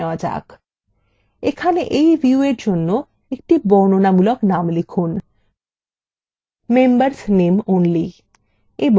এখানে এই viewএর জন্য একটি বর্ণনামূলক name লিখুন : members name only